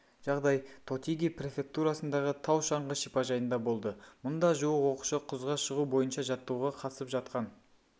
жағдай тотиги префектурасындағы тау-шаңғы шипажайында болды мұнда жуық оқушы құзға шығу бойынша жаттығуға қатысып жатқан